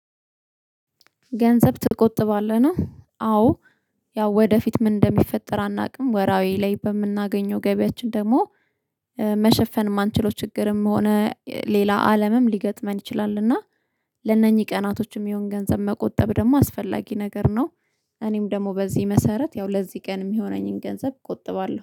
ገንዘብ ትቆጥባለህ ነው? አዎ፣ ያው ወደፊት ምን እንደሚፈጠር አናውቅም፤ በምናገኘው ወርሃዊ ገቢያችን ላይ ደግሞ መሸፈን የማንችለው ችግርም ሆነ ሌላ ነገር ሊገጥመን ይችላል፤ እና ለእነኚህ ቀናት የሚሆን ገንዘብ መቆጠብ አስፈላጊ ነገር ነው። እኔም በዚህ መሰረት፣ ያው ለዚህ ቀን የሚሆነኝን ገንዘብ እቆጥባለሁ።